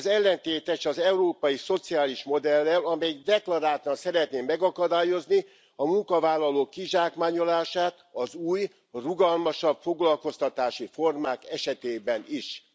Ez ellentétes az európai szociális modellel, amelyik deklaráltan szeretné megakadályozni a munkavállalók kizsákmányolását az új, rugalmasabb foglalkoztatási formák esetében is.